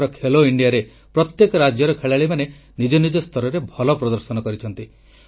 ଏଥର ଖେଲୋ ଇଣ୍ଡିଆରେ ପ୍ରତ୍ୟେକ ରାଜ୍ୟର ଖେଳାଳିମାନେ ନିଜ ନିଜ ସ୍ତରରେ ଭଲ ପ୍ରଦର୍ଶନ କରିଛନ୍ତି